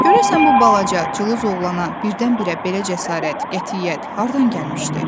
"Görəsən bu balaca cılız oğlana birdən-birə belə cəsarət, qətiyyət hardan gəlmişdi?